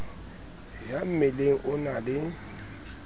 ya mmeleng o na le